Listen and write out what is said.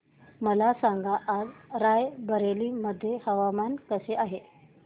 मला सांगा आज राय बरेली मध्ये हवामान कसे आहे